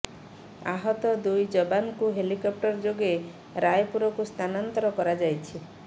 ଆହତ ଦୁଇ ଯବାନଙ୍କୁ ହେଲିକଫ୍ଟର ଯୋଗେ ରାୟପୁରକୁ ସ୍ଥାନାନ୍ତର କରାଯାଇଛି